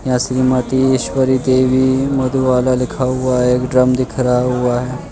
मति ईश्वरी पे भी वाला लिखा हुआ है ड्रम दिख रहा हुआ है।